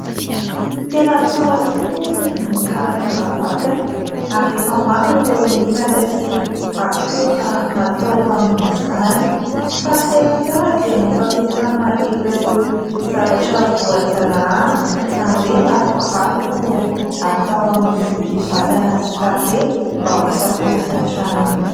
Tena tsara tokoa ny mikarakara vatana ary efa maro ireo menaka sy akora natao amin'izany fa ny tena tsara dia ny fampiasana ireo zavatra voajanahary, izany hoe natoraly no atao amin'ny vatana sy tarehy mba ho fiarovana hatrany.